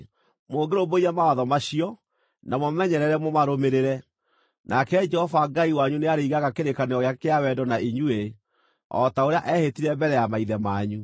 Mũngĩrũmbũiya mawatho macio na mũmamenyerere mũmarũmĩrĩre, nake Jehova Ngai wanyu nĩarĩigaga kĩrĩkanĩro gĩake kĩa wendo na inyuĩ, o ta ũrĩa eehĩtire mbere ya maithe manyu.